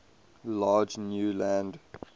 large new land